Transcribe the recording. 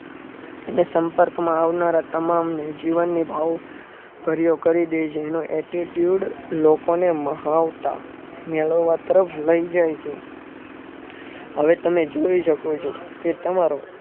ને સંપર્કમાં આવનારા તમામને જીવનની ભાવભર્યો કરી દે છે એનો Attitude લોકોને મહાવતા મેળવવા તરફ લય જાય છે. હવે તમે જોઈ શકો છો કે તમારો